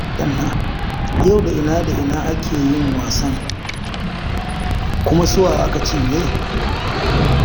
Yau da ina da ina aka yi wasan, kuma su wa aka cinye?